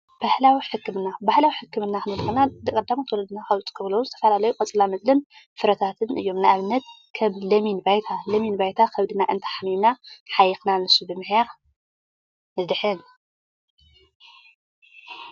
ባህላዊ ሕክምና ፦ባህላዊ ሕክምና ክንብል ከለና ቀዳሞት ወለድና ዝጥምሎም ዝተፈላለዩ ቆፅላመፅልን ፍረታትን እዮም። ንአብነት ከም ሎሚን ባይታ። ሎሚን ባይታ ኸብድና እንሓሚምና ሕይኽና ንሱ ብምሕያኽ ንድሕን።